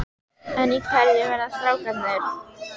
En í hverju verða strákarnir?